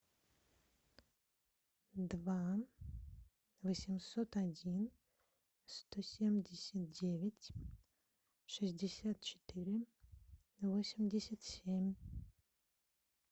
два восемьсот один сто семьдесят девять шестьдесят четыре восемьдесят семь